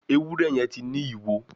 Ewúrẹ́ yen tí ní ìwo.